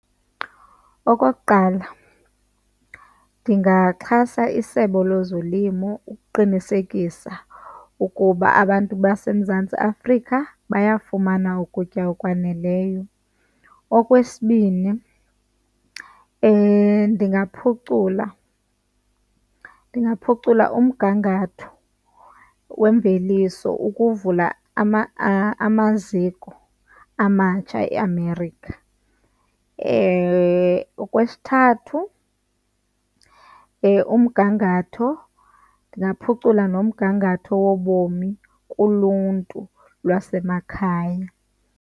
Okokuqala, ndingaxhasa iSebe lezoLimo ukuqinisekisa ukuba abantu baseMzantsi Afrika bayafumana ukutya okwaneleyo. Okwesibini, ndingaphucula, ndingaphucula umgangatho weemveliso ukuvula amaziko amatsha eAmerica. Okwesithathu, umgangatho, ndingaphucula nomgangatho wobomi kuluntu lwasemakhaya.